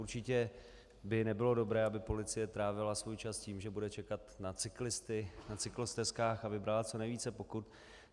Určitě by nebylo dobré, aby policie trávila svůj čas tím, že bude čekat na cyklisty na cyklostezkách a vybrala co nejvíce pokut.